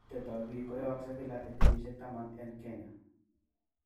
Koitetep ap pik koyyogsei kila en kenyisiek taman en Kenya.